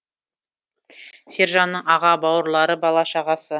сержанның аға бауырлары бала шағасы